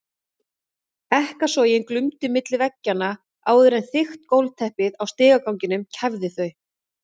Ekkasogin glumdu milli veggjanna áður en þykkt gólfteppið á stigaganginum kæfði þau.